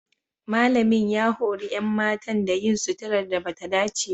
Malamin ya hori 'yan matan da yin suturar da ba ta dace ba.